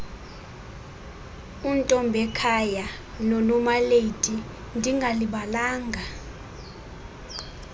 untombekhaya nonomalady ndingalibalanga